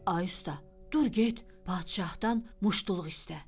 Ay usta, dur get padşahdan muştuluq istə.